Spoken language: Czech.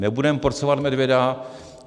Nebudeme porcovat medvěda.